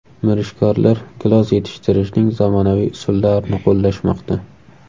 Mirishkorlar gilos yetishtirishning zamonaviy usullarini qo‘llashmoqda.